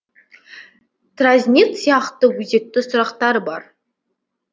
тразнит сияқты өзекті сұрақтар бар